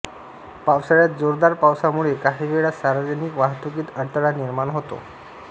पावसाळ्यात जोरदार पावसामुळे काहीवेळा सार्वजनिक वाहतुकीत अडथळा निर्माण होतो